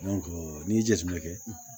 n'i ye jateminɛ kɛ